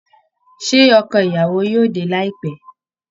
Ṣé ọkọ ìyàwó yóò dé láìpẹ́?